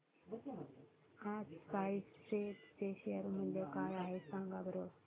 आज SpiceJet चे share मूल्य काय आहे सांगा बरं